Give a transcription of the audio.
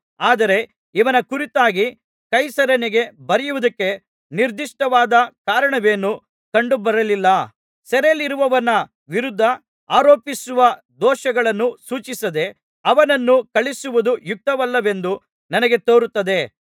ಆದರೆ ಇವನ ಕುರಿತಾಗಿ ಕೈಸರನಿಗೆ ಬರೆಯುವುದಕ್ಕೆ ನಿರ್ದಿಷ್ಟವಾದ ಕಾರಣವೇನೂ ಕಂಡು ಬರಲಿಲ್ಲ ಸೆರೆಯಲ್ಲಿರುವವನ ವಿರುದ್ಧ ಆರೋಪಿಸಿರುವ ದೋಷಗಳನ್ನು ಸೂಚಿಸದೆ ಅವನನ್ನು ಕಳುಹಿಸುವುದು ಯುಕ್ತವಲ್ಲವೆಂದು ನನಗೆ ತೋರುತ್ತದೆ